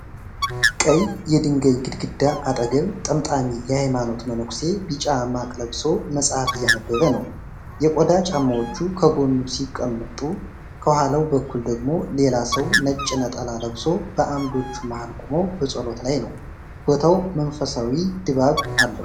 ቀይ የድንጋይ ግድግዳ አጠገብ፣ ጠምጣሚ (የሃይማኖት መነኪሴ) ቢጫ ማቅ ለብሶ መጽሐፍ እያነበበ ነው። የቆዳ ጫማዎቹ ከጎኑ ሲቀመጡ፣ ከኋላው በኩል ደግሞ ሌላ ሰው ነጭ ነጠላ ለብሶ በዓምዶቹ መሃል ቆሞ በጸሎት ላይ ነው። ቦታው መንፈሳዊ ድባብ አለው።